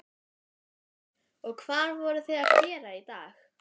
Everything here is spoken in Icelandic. Hrund: Og hvað voruð þið að gera í dag?